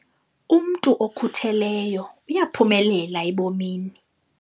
Umntu okhutheleyo uyaphumelela ebomini.